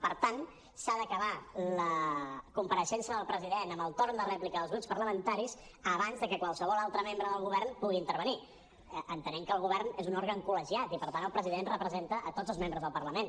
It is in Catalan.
per tant s’ha d’acabar la compareixença del president amb el torn de rèplica dels grups parlamentaris abans de que qualsevol altre membre del govern pugui intervenir entenent que el govern és un òrgan col·legiat i per tant el president representa tots els membres del parlament